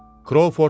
Krouford dedi: